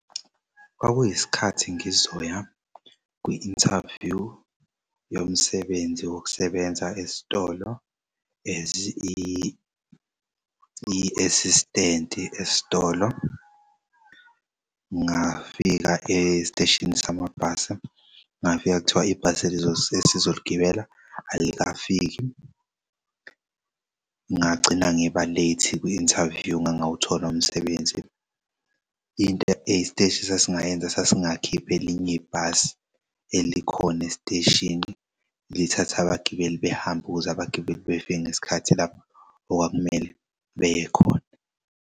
Kwakuyisikhathi ngizoya kwi-interview yomsebenzi wokusebenza esitolo as i-assistant esitolo. Ngafika esiteshini samabhasi ngafika kuthiwa ibhasi esizoligibela alikafiki ngagcina ngiba late kwi-interview ngangawuthola umsebenzi. Into isiteshi esasingayenza sasi ngakhipha elinye ibhasi elikhona esiteshini lithatha abagibeli behambe ukuze abagibeli befike ngesikhathi lapho okwakumele beye khona.